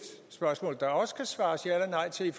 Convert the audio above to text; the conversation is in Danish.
spørgsmål der også kan svares ja eller nej til i